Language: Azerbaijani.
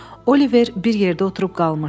Oliver bir yerdə oturub qalmışdı.